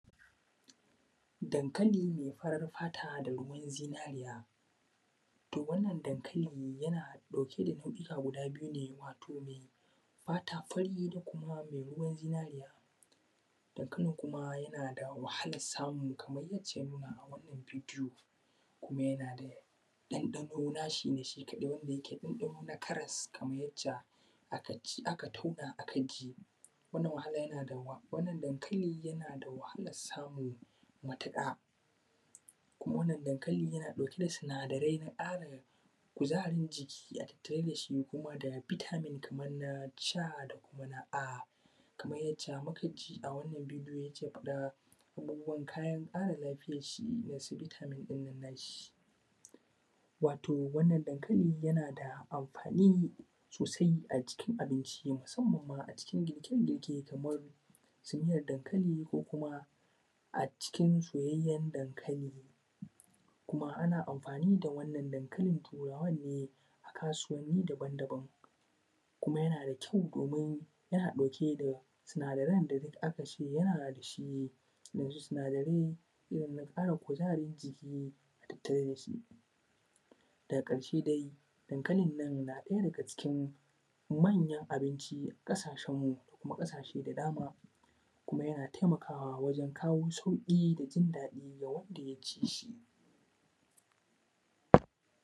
daŋkali mai fariŋ fata da ruwan zinariya to, wannan daŋkalin na ɗauke da nau’ika guda biyu ne: wato mai fata fari da ruwan zinariya. daŋkalin kuma na da wahalar samu kaman yadda an nuna a wannan bidiyo kuma yana da ɗaŋɗano nashi ne shi kaɗai wanda yake ɗaŋɗanon na karas kamar yac ce a katatun aka ci wannan daŋkalin yana da wahalar samu matuƙa kuma wannan daŋkalin yana ɗauke da sanadarai na ƙara kuzarin jiki a tattare da shi, kuma bitamin kaman na ce, da kuma na a, kaman yac ce mu ka ji a wannan bidiyo kuman ruwan ƙara lafiyan sa na bitamin ɗin shi, wato wannan daŋkalin yana da anfani sosai a cikin abinci, musammanma a cikin girke-girke, kamar su miyar daŋkali ko kuma a cikin soyayyen daŋkali. Ana anfani da wannan daŋkalin Turawan ne a kasuwanni dabandaban kuma yana da kyau, domin yana ɗauke da sanadarai, da duk aka ce yana da shi yanzu, sanadarai yana ƙara sanadaran giki. Daga ƙarse dai, daŋkalin Turawa na ɗaya daga cikin manyan abinci a ƙasashenmu da kuma ƙasashe da dama, kuma yana taimakawa wajen kawo sauƙi ga wanda ya ci shi.